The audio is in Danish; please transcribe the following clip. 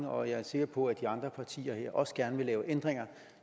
og jeg er sikker på at de andre partier her også gerne vil lave ændringer